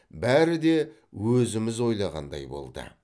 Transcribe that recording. бәрі де өзіміз ойлағандай болды